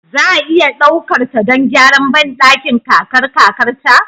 Za a iya ɗaukar ta don gyaran bandakin kakar kakarta?